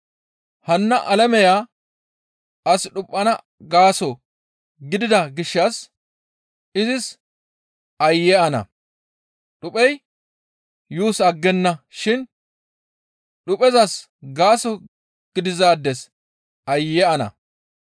Hanna alameya as dhuphana gaaso gidida gishshas izis aayye ana! Dhuphey yuus aggenna shin dhuphezas gaaso gidizaades aayye ana!